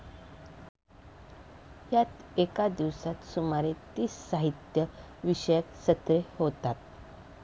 यात एका दिवसात सुमारे तीस साहित्य विषयक सत्रे होतात.